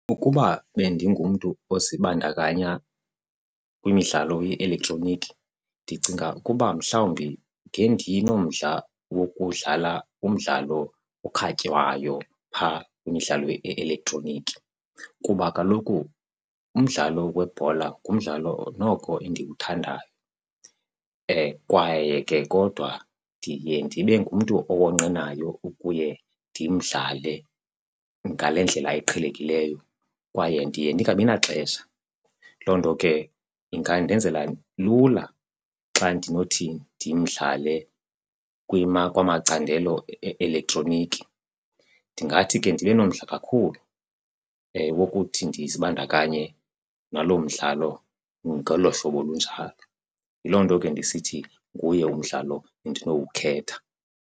Ukuba bendingumntu ozibandakanya kwimidlalo ye-elektroniki ndicinga ukuba mhlawumbi ngendinomdla wokudlala umdlalo okhatywayo phaa kwimidlalo ye-elektroniki. Kuba kaloku umdlalo webhola ngumdlalo noko endiwuthandayo kwaye ke kodwa ndiye ndibe ngumntu owonqenayo ukuye ndimdlale ngale ndlela iqhelekileyo kwaye ndiye ndingabi naxesha, loo nto ke ingandenzela lula xa ndinothi ndimdlale kwamacandelo e-elektroniki. Ndingathi ke ndibe nomdla kakhulu wokuthi ndizibandakanye naloo mdlalo ngolo hlobo lunjalo. Yiloo nto ke ndisithi nguye umdlalo endinowukhetha.